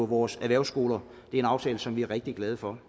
vores erhvervsskoler det er en aftale som vi er rigtig glade for